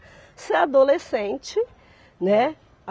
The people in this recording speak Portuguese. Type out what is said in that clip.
Você é adolescente, né?